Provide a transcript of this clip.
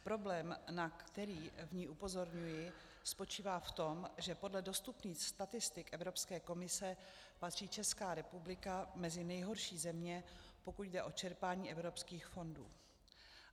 Problém, na který v ní upozorňuji, spočívá v tom, že podle dostupných statistik Evropské komise patří Česká republika mezi nejhorší země, pokud jde o čerpání evropských fondů.